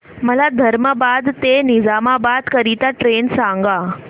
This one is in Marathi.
मला धर्माबाद ते निजामाबाद करीता ट्रेन सांगा